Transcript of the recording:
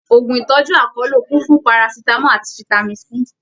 Òògùn ìtọjú akọlo kún fún Parasitamọ àti fitami C.